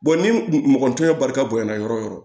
ni mɔgɔnintani balika bonyana yɔrɔ yɔrɔ